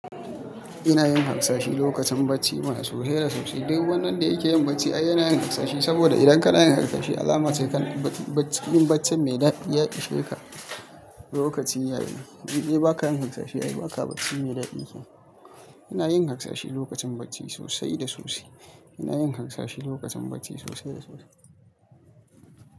Ina yin harsashi lokacin bacci mana sosai da sosai. Dukwani wanda yake yin bacci ai yana yin harsashi. Saboda idan ka na yin harsashi alama ce kan ba-ba-yin baccin mai daɗi ya ishe ska lokacin yayi. In dai ba ka yin harsashi ai ba ka bacci mai daɗi kenan. Ina yin harsashi lokacin bacci sosai da sosai. Ina yin haskashi lokacin bacci sosai da sosai.